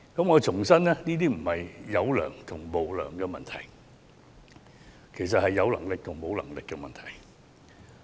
我想重申，這並非"有良"或"無良"的問題，而是"有能力"和"沒有能力"的問題。